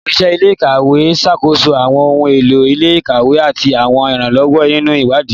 Oṣiṣẹ ile-ikawe n ṣakoso awọn ohun elo ile-ikawe ati awọn iranlọwọ ninu iwadii.